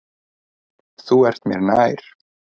Þú ert mér nær.